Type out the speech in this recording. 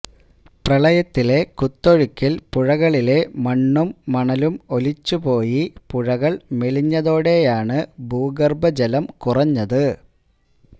പ്രളയത്തിലെ കുത്തൊഴുക്കില് പുഴകളിലെ മണ്ണും മണലും ഒലിച്ചുപോയി പുഴകള് മെലിഞ്ഞതോടെയാണ് ഭൂഗര്ഭ ജലം കുറഞ്ഞത്